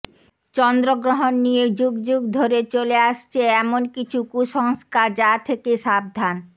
চন্দ্রগ্রহণ নিয়ে যুগ যুগ ধরে চলে আসছে এমনকিছু কুঃসস্কার যা থেকে সাবধান